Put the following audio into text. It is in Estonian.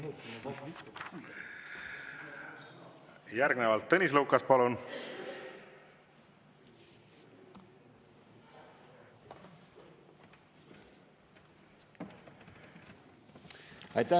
Järgnevalt Tõnis Lukas, palun!